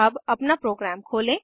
अब अपना प्रोग्राम खोलें